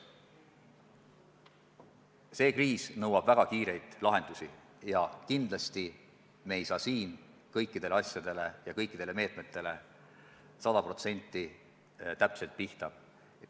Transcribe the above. See kriis nõuab väga kiireid lahendusi ja kindlasti me ei saa kõikidele asjadele ja kõikidele meetmetele sada protsenti täpselt pihta.